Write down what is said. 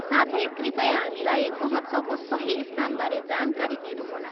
साथै, कृपया हामीलाई महोत्सवको सही स्थानबारे जानकारी दिनुहोला।